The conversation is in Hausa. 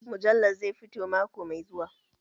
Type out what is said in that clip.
Mujallar zai fito mako mai zuwa